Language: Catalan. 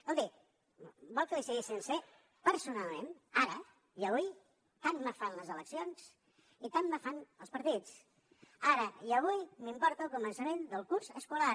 escolti vol que li sigui sincer personalment ara i avui tant me fan les eleccions i tant me fan els partits ara i avui m’importa el començament del curs escolar